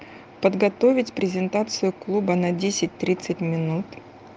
подготовить презентацию клуба на десять тридцать минут